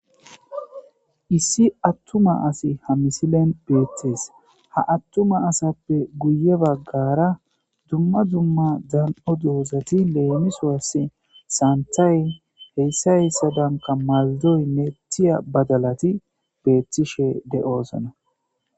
Issi atuma assiy ha misilen betes. Ha atuma asappe guye bagara dumma dumma dan'o dozata lemisos giste,santhay h.h.m maldoyinne badalat betishe de'osona.